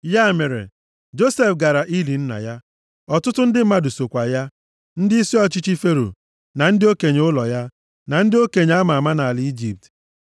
Ya mere, Josef gara ili nna ya. Ọtụtụ ndị mmadụ sokwa ya. Ndịisi ọchịchị Fero, na ndị okenye ụlọ ya, na ndị okenye a ma ama nʼala Ijipt.